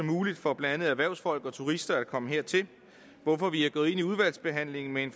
muligt for blandt andet erhvervsfolk og turister at komme hertil hvorfor vi er gået ind i udvalgsbehandlingen med en